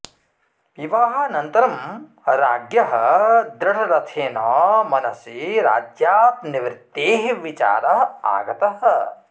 विवाहानन्तरं राज्ञः दृढरथेन मनसि राज्यात् निवृत्तेः विचारः आगतः